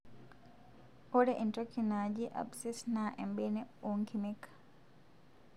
ore entoki naaji abscess na embene onkimek.